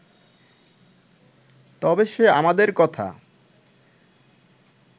তবে সে আমাদের কথা